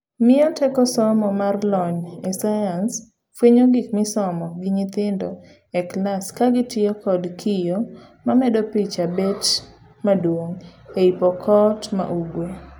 Miyo teko somo mar lony e science fuenyo gik misomo gi nyithindo e klas kagitiyo kod kiyoo mamedo picha bet maduong' ei Pokot ma Ugwe.